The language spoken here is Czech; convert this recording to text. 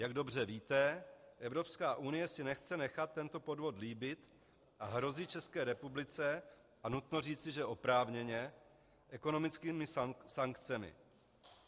Jak dobře víte, Evropská unie si nechce nechat tento podvod líbit a hrozí České republice - a nutno říci, že oprávněně - ekonomickými sankcemi.